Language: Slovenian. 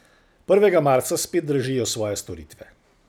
Prvega marca spet dražijo svoje storitve.